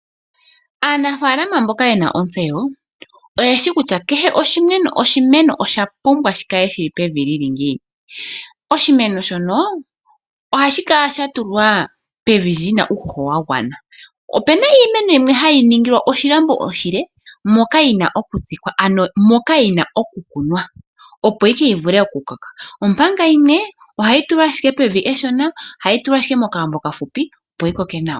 Aanafalama mboka ye na ontseyo oye shi kutya kehe eno osha pumbwa shi kale shi li pevi li li ngiini. Oshimeno shono ohashi kala sha tulwa pevi li na uuhoho wa gwana. Ope na iimeno hayi ningilwa oshilambo oshile moka yi na okutsikwa ano moka yi na okukunwa, opo ihe yi vule okukoka. Omanga yimwe ohayi tulwa ashike pevi eshona, ohayi tulwa ashike mokalambo okafupi opo yi koke nawa.